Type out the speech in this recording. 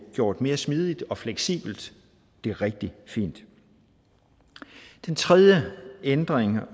gjort mere smidigt og fleksibelt det er rigtig fint den tredje ændring